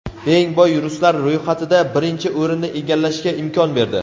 eng boy ruslar ro‘yxatida birinchi o‘rinni egallashga imkon berdi.